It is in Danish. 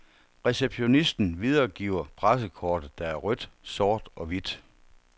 Receptionistenvideregiver pressekortet, der er rødt, sort og hvidt.